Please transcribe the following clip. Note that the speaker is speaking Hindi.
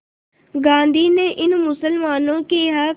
गांधी ने इन मुसलमानों के हक़